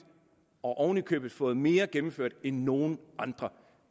og oven i købet fået mere gennemført end nogen andre